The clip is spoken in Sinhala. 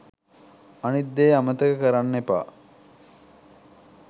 අනිත් දේ අමතක කරන්න එපා